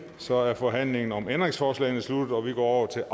så er forhandlingen om ændringsforslagene sluttet og vi går til